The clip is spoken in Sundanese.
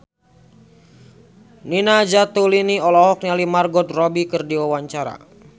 Nina Zatulini olohok ningali Margot Robbie keur diwawancara